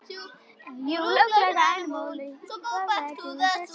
Hvernig komust þeir á mótið?